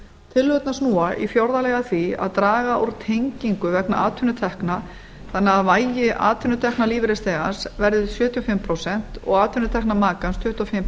tillögurnar snúa í fjórða lagi að því að draga úr tengingu vegna atvinnutekna þannig að vægi atvinnutekna lífeyrisþegans verði sjötíu og fimm prósent og atvinnutekna makans tuttugu og fimm